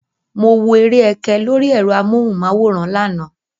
Mo wo eré ẹkẹ lóri ẹ̀rọ amóhùnmáwòrán lánàá.